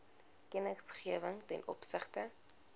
kennisgewing ten opsigte